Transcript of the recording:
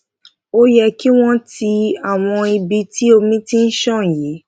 ó yẹ yẹ kí wón ti àwọn ibi tí omi ti ṣàn yí